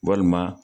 Walima